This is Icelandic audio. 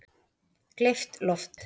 Gleypt loft